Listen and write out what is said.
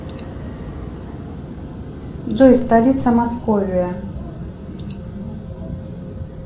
джой столица московия